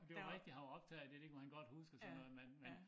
Det var rigtig han var optaget af det det kunne han godt huske og sådan noget men men